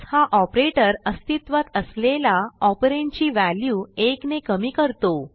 हा operatorअस्तित्वात असलेला ऑपरंड ची व्हॅल्यू 1ने कमी करतो